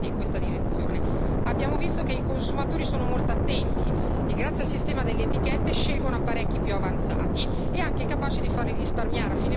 Abbiamo visto che i consumatori sono molto attenti e, grazie al sistema delle etichette, scelgono apparecchi più avanzati e anche capaci di farli risparmiare a fine mese sulla loro bolletta.